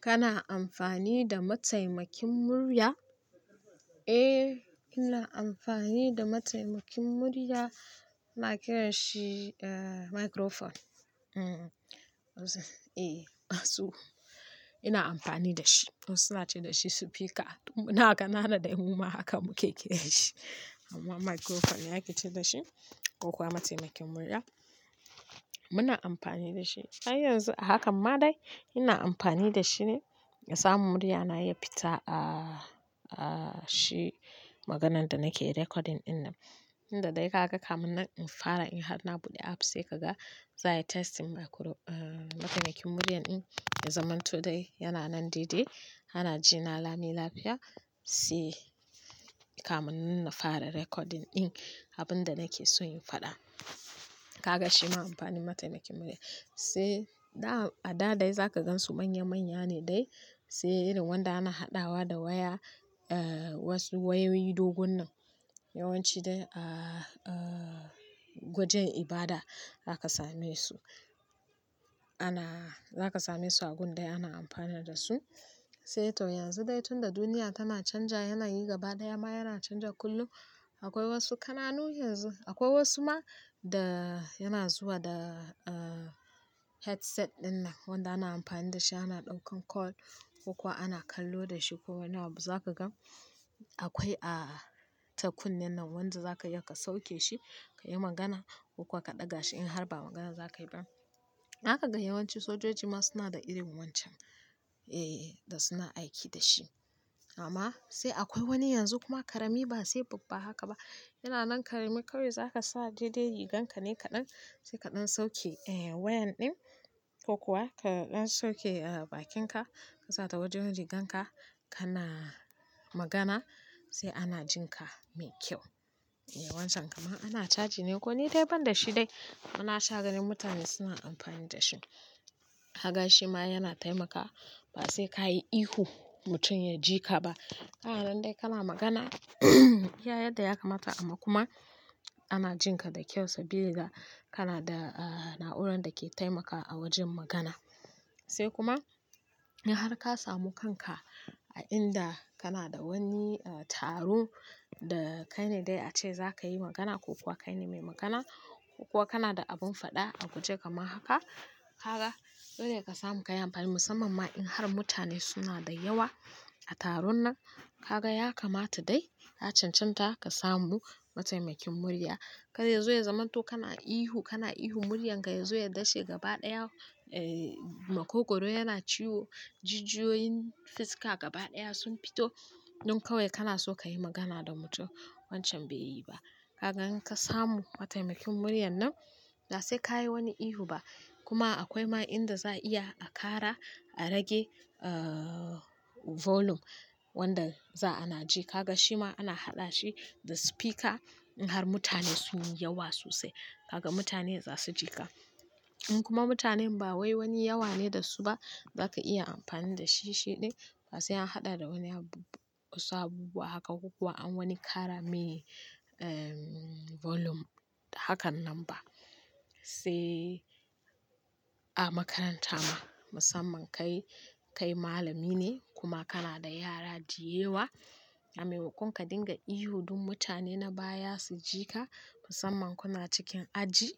Kana amfani da mataimakin murya? Eh, ina amfani da mataimakin murya ana kiranshi eh "microphone". Eh musa eh asu, ina amfani dashi wassu su na ce da shi "supika" mun na kanana dai mu ma haka muke kiranshi amma "microphone" ne ake ce dashi ko kuwa mataimakin murya muna amfani da shi. Har yanzu a hakan ma dai ina amfani da shine na samu muryana ya fita a a shi maganan da nake recording ɗin nan. Inda dai kaga kamun nan in fara in har na buɗe apps sai kaga za a yi testing mikro-- eh mataimakin muryan ɗin na zaman to dai yana nan daidai, anna jina Lami lafiya sai kamun nan na fara recording ɗin abin da nake so in faɗa. Kaga shima amfanin mataimakin murya sai dam-- a da dai za ka gansu manya-manya ne dai sai irin wanda ana haɗawa da waya, wasu wayoyi dogon nan yawanci dai a gwajen ibada daka same su. Ana-- za ka same su a gundai ana amfana da su sai to yanzu dai tunda duniya tana canja yanayi gabaɗaya ma yana canja kullum akwai wasu kananu yanzu akwai wasu ma da yana zuwa da headset ɗin nan wanda ana amfani da shi ana ɗaukan call ko kuwa ana kallo da shi ko wani abu za ka gan akwai a ta kunnen nan wanda za ka iya ka sauke shi ka yi magana ko kuwa ka ɗaga shi in har ba magana za ka yi ba. Daka ga yawanci sojoji ma suna da irin wancan, eh da suna aiki da shi amma sai akwai wani yanzu kuma karami ba sai babba haka ba. Yana nan karami kawai za ka sa daidai riganka ne kaɗan sai kaɗan sauke eh wayan ɗin ko kuwa ka ɗan sauke bakinka ka sa ta wajen riganka kana magana sai ana jin ka mai kyau. Wancan kama ana chargi ne ko ni dai ban da shi dai amma na sha ganin mutane suna amfani da shi. Kaga ai shi ma yana taimakawa ba sai ka yi ihu mutum ya ji ka ba. Kana nan dai kana magana iya yadda ya kamata amma kuma ana jin ka da kyau sabili da kana da na'urar da ke taimakawa a wajen magana. Sai kuma in har ka samu kanka a inda kana da wani eh taro da kai ne dai a ce za ka yi magana ko kuwa kai ne mai magana ko kuwa kana da abun faɗa a guje kamar haka, kaga dolle ka samu ka yi amfani musamman ma in har mutane suna da yawa a taron nan kaga ya kamata dai ka cancanta ka samu mataimakin murya. Kar ya zo ya zamanto kana ihu, kana ihu muryanka ya zo ya dashe gabaɗaya, makogoro yana ciwo, jijiyoyin fiska gabaɗaya sun fito don kawai kana so ka yi magana da mutum. Wancan bai yi ba. Kaga in ka samu mataimakin murya nan ba sai ka yi wani ihu ba kuma akwai ma inda za a iya a ƙara, a rage volume wanda za ana ji. Kaga shi ma ana haɗa shi da speaker in har mutane sun yi yawa sosai. Kaga mutane za su ji ka. In kuma mutanen ba wai wani yawa ne da su ba za ka iya amfani da shi shi dai ba sai an haɗa da wani abu, wasu abubuwa haka ko kuwa an wani ƙara mai em volume hakan nan ba. Sai a makaranta ma musamman kai, kai malami ne kuma kana da yara diyewa a maimakon ka dinga ihu don mutane na baya su ji ka musamman kuna cikin aji.